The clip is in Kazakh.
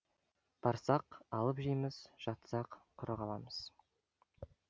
барсақ алып жейміз жатсақ құры қаламыз